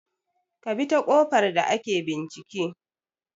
Kabita ƙofar da ake bincike